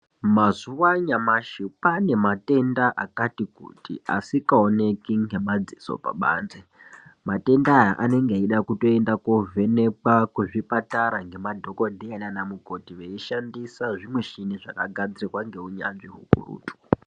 Mazuva anyamashi kwaane matenda akati kuti asikaoneki ngemadziso pabanze. Matenda aya anenge eida kutoenda kovhenekwa kuzvipatara ngemadhogodheya nanamukoti veishandisa zvimishini zvakagadzirwa ngeunyanzvi ukurutu.